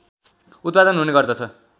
उत्पादन हुने गर्दछ